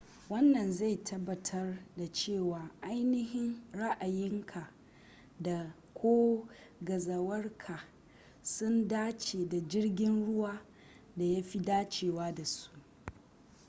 wannan zai tabbatar da cewa ainihi ra’ayinka da/ko gazawarka sun dace da jirgin ruwan da ya fi dacewa da su